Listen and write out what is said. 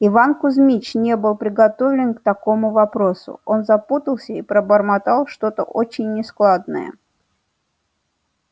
иван кузьмич не был приготовлен к таковому вопросу он запутался и пробормотал что-то очень нескладное